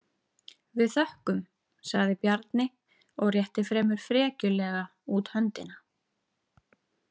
Við þökkum, sagði Bjarni og rétti fremur frekjulega út höndina.